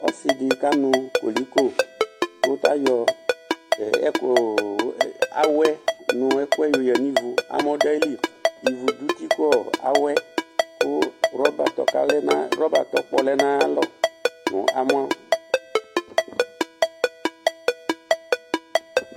Ɔsɩ ɖɩ ƙa nʋ ƙoliƙo, ƙʋ ta ƴɔ awɛ nʋ ɛƙʋɛ ƴɔƴǝ nʋ ivuAmɔ ɖʋ aƴili, ivu ɖʋ iti ƙa awɛ; rɔba tɔƙpɔ nʋ amɔ lɛ nʋ aƴʋ alɔ